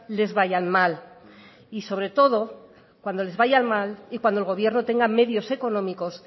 les vayan mal y sobre todo cuando les vayan mal y cuando el gobierno tenga medios económicos